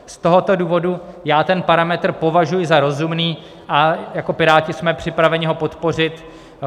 Z tohoto důvodu já ten parametr považuji za rozumný a jako Piráti jsme připraveni ho podpořit.